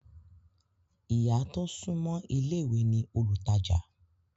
Ìyá tó súńmọ́ ilé ìwé ní olùtajà